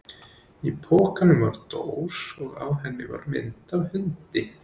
Í pokanum var dós og á henni var mynd af hundi.